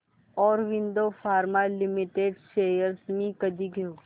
Aurobindo pharma limited shares मी कधी घेऊ